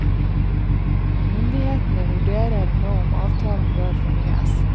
Myndighetene vurderer nå om avtalen bør fornyes.